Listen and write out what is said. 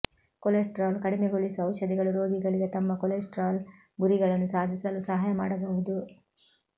cholesterol ಕಡಿಮೆಗೊಳಿಸುವ ಔಷಧಿಗಳು ರೋಗಿಗಳಿಗೆ ತಮ್ಮ ಕೊಲೆಸ್ಟರಾಲ್ ಗುರಿಗಳನ್ನು ಸಾಧಿಸಲು ಸಹಾಯ ಮಾಡಬಹುದು